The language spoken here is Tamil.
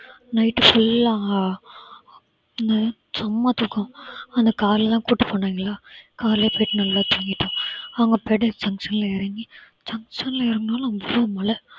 night full ஆ செம்ம தூக்கம். ஆனால் காலைலாம் கூட்டிட்டு போனாங்களா, காலையில போயிட்டு நல்லா தூங்கிட்டோம். அவங்க junction ல இறங்கி junction ல இறங்குனாலும் அவ்ளோ பல மலை